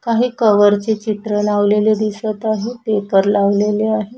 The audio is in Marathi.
काही कव्हरचे चित्र लावलेले दिसत आहे पेपर लावलेले आहे.